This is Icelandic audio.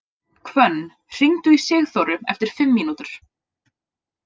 Hvönn, hringdu í Sigþóru eftir fimm mínútur.